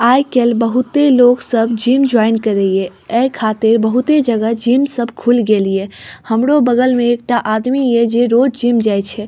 आज कल बहुते लोग सब जिम ज्वाइन करेइए ये खातिर बहुत ही जगह जिम सब खुल गेएलिए हमरो बगल में एकता आदमी जे रोज जिम जाए छै।